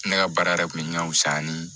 Ne ka baara yɛrɛ kun bɛ ɲan fuya ni